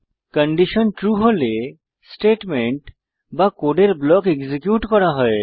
condition true হলে statement বা কোডের ব্লক এক্সিকিউট করা হয়